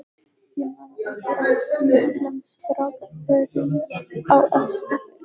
Ég man ekki eftir miklum strákapörum á Eskifirði.